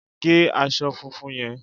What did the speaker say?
Gé aṣọ funfun yẹn!